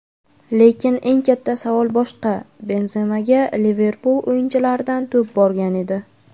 Lekin eng katta savol boshqa: Benzemaga Liverpul o‘yinchilaridan to‘p borgan edi.